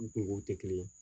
U kungow tɛ kelen ye